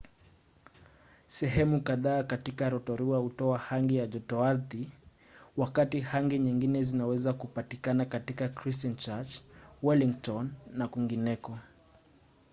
sehemu kadhaa katika rotorua hutoa hangi ya jotoardhi wakati hangi nyingine zinaweza kupatikana katika christchurch wellington na kwingineko